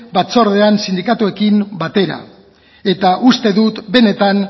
batzordean sindikatuekin batera uste dut benetan